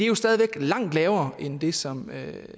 jo stadig væk langt lavere end det som